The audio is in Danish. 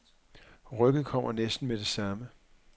Rykket kommer næsten med det samme.